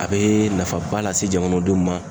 A bee nafaba lase jamanadenw ma